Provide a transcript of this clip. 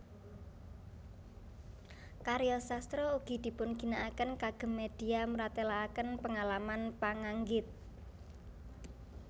Karya sastra ugi dipungginakaken kagem media mratelaaken pengalaman panggangit